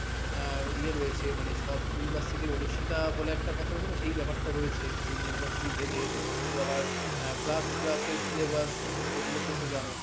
আহ ইয়ে রয়েছে মানে সব university র অদর্শিতা বলে একটা কথা থাকে না সেই ব্যাপারটা রয়েছে বিভিন্ন university ভেদে তো আবার আহ class plus এর syllabus এগুলো তো জানো।